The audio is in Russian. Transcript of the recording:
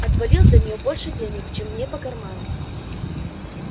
отвалил за нее больше денег чем мне по карману